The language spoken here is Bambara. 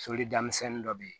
Solidamisɛnnin dɔ bɛ yen